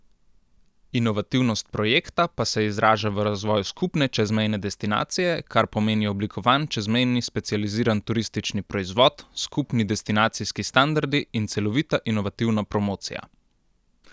Inovativnost projekta pa se izraža v razvoju skupne čezmejne destinacije, kar pomeni oblikovan čezmejni specializiran turistični proizvod, skupni destinacijski standardi in celovita inovativna promocija.